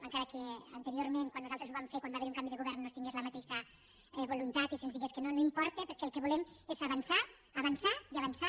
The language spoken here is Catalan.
encara que anteriorment quan nosaltres ho vam fer quan va haver hi un canvi de govern no es tingués la mateixa voluntat i se’ns digués que no no importa perquè el que volem és avançar avançar i avançar